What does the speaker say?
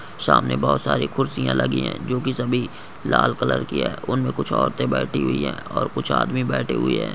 सामने बहुत सारे कुर्सियां लगी है जो कि सभी लाल कलर की है उनमें कुछ औरते बैठी हुई है और कुछ आदमी बैठे हुए है।